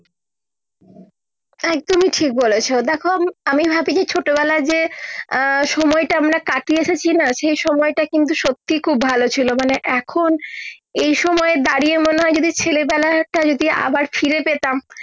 একদমি ঠিক বলেছো দেখো আমি ভাবি যে ছোট বেলায় যে আহ সময় টা আমরা কাটিয়ে এসেছি না সে সময় টা কিন্তু সত্যি খুব ভালো ছিলো মানে এখন এই সময় দাঁড়িয়ে মনে হয় ছেলে মেলায় একটা যদি আবার ফিরে পেতাম